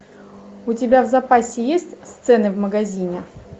у тебя в запасе есть сцена в магазине